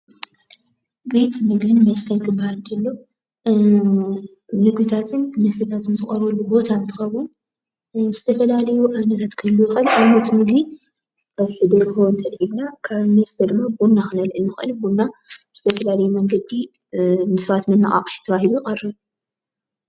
ቤት ምግብን መስተን ክባሃል ከሎ ምግብታትን መስተታትን ዝቐርበሉ ቦታ እንትኸውን ንዝተፈላለዩ ዓይነታት ክህልዎ ይኽእል። ንኣብነት ምግቢ ፀብሒ ደርሆ ተልዒልና ፣ ካብ መስተ ድማ ቡና ክነልዕል ንኽእል ቡና ብዝተፈላለየ መንገዲ ንሰባት መነቓቕሒ ተባሂሉ ይቐርብ ።